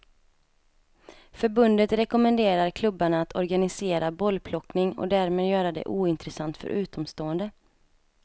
Förbundet rekommenderar klubbarna att organisera bollplockning och därmed göra det ointressant för utomstående.